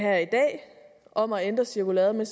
om at ændre cirkulæret men